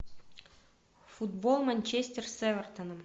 футбол манчестер с эвертоном